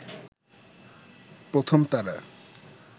প্রথম তারা